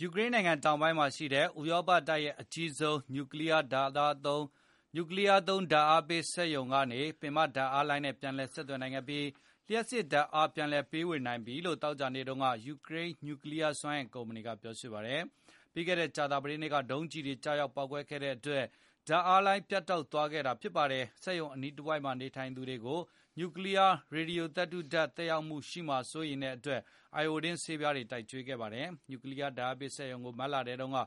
ယူကရိန်းနိုင်ငံ တောင်ပိုင်းမှာရှိတဲ့ ဥရောပတိုက်ရဲ့အကြီးဆုံး နူကလီးယားသုံး လျှပ်စစ် ဓာတ်အားပေးစက်ရုံဖြစ်တဲ့ Zaporizhzhia ကနေ ပင်မ ဓာတ်အားလိုင်းနဲ့ ပြန်လည် ဆက်သွယ်နိုင်ခဲ့ပြီး လျှပ်စစ်ဓာတ်အား ပြန်လည်ပေးဝေနိုင်ပြီလို့ သောကြာနေ့တုန်းက ယူကရိန်း နူကလီးယား စွမ်းအင်ကုမ္ပဏီ Energoatom ကပြောဆိုပါတယ်။ ပြီးခဲ့တဲ့ ကြာသာပတေးနေ့က ဒုံးကျည်တွေ ကျရောက်ပေါက်ကွဲခဲ့တဲ့အတွက် ဓာတ်အားလိုင်းတွေ ပြတ်တောက်သွားခဲ့တာ ဖြစ်ပါတယ်။ စက်ရုံ အနီးတဝိုက်မှာ နေထိုင်သူတွေကို နူကလီးယား ရေဒီယိုသတ္တိဓာတ် သက်ရောက်မှုရှိမှာ စိုးတဲ့အတွက် အိုင်အိုဒင်း ဆေးပြားတွေကို ကျွေးခဲ့ပါတယ်။ နူကလီးယား ဓာတ်အားပေးစက်ရုံကို မတ်လထဲတုန်းက